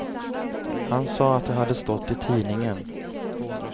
Han sa att det hade stått i tidningen.